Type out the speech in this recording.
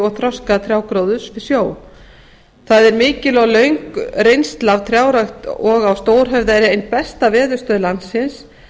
og þroska trjágróðurs við sjó það er mikil og löng reynsla af trjárækt og á stórhöfða er ein stærsta veðurstöð landsins